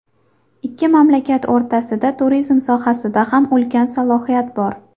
Ikki mamlakat o‘rtasida turizm sohasida ham ulkan salohiyat bor.